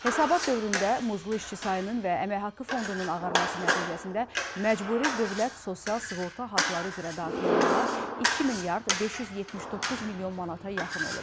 Hesabat dövründə muzlu işçi sayının və əmək haqqı fondunun ağarması nəticəsində məcburi dövlət sosial sığorta haqları üzrə daxil olmalar 2 milyard 579 milyon manata yaxın olub.